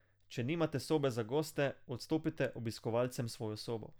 Če nimate sobe za goste, odstopite obiskovalcem svojo sobo.